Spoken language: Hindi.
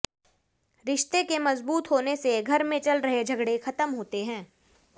रिश्ते के मजबूत होने से घर में चल रहे झगड़े खत्म होते हैं